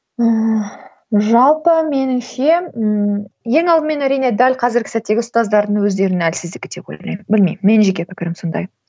ыыы жалпы меніңше ііі ең алдымен әрине дәл қазіргі сәттегі ұстаздардың өздерінің әлсіздігі деп ойлаймын білмеймін менің жеке пікірім сондай